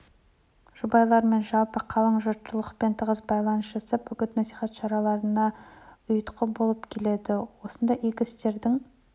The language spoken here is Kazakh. жұбайлармен жалпы қалың жұртшылықпен тығыз байланыс жасап үгіт-насихат шараларына ұйытқы болып келеді осындай игі істердің